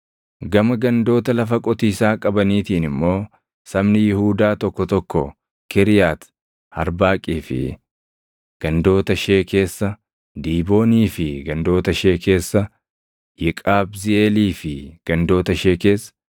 Gama gandoota lafa qotiisaa qabaniitiin immoo sabni Yihuudaa tokko tokko Kiriyaati Arbaaqii fi gandoota ishee keessa, Diiboonii fi gandoota ishee keessa, Yeqabziʼeelii fi gandoota ishee keessa,